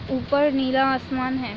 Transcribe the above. ऊपर नीला आसमान है।